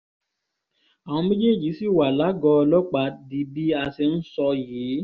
àwọn méjèèjì ṣì wà lágọ̀ọ́ ọlọ́pàá di bí a ṣe ń sọ yìí